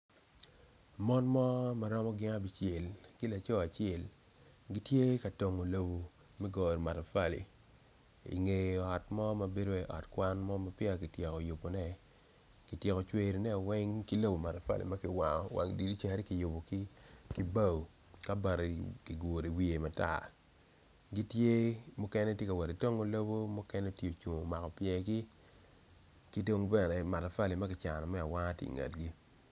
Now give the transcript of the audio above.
Mon mo ma romo abicel ki laco acel gitye ka tongo lobo me goyo matafali i nge ot kwan gitye kacel ki bene matafali ma kicano me awanga tye ki i ngegi